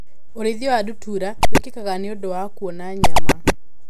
ũrĩithia wa ndutura wĩkĩkaga nĩũndũ wa kuona nyama.